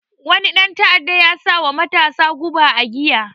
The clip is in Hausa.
Wani ɗan ta'adda ya sawa matasa guba a giya